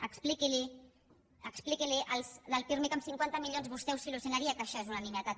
expliqui als del pirmi que amb cinquanta milions vostè ho solucionaria que això és una nimietat